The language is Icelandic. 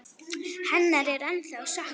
Hennar er ennþá saknað.